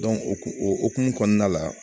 o hokumu o hokumu kɔnɔna la